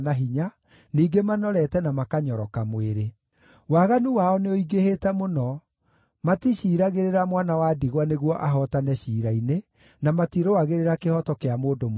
ningĩ manorete na makanyoroka mwĩrĩ. Waganu wao nĩũingĩhĩte mũno; maticiiragĩrĩra mwana wa ndigwa nĩguo ahootane ciira-inĩ, na matirũagĩrĩra kĩhooto kĩa mũndũ mũkĩa.